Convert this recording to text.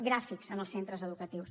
gràfics en els centres educatius